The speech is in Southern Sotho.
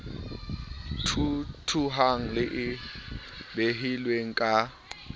thuthuhang le e behilweng ka